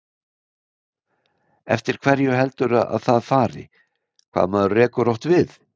Eftir hverju heldurðu að það fari, hvað maður rekur oft við?